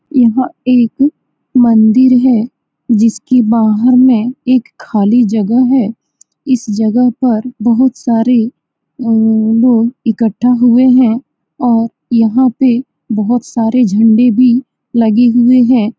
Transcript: यह एक मंदिर है । जिसकी बाहर में एक खाली जगह है । इस जगह पर बहुत सारे हम्म लोग इकठा हुए हैं और यह पे बोहोत सारे झंडे भी लगे हुए हैं ।